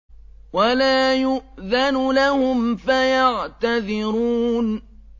وَلَا يُؤْذَنُ لَهُمْ فَيَعْتَذِرُونَ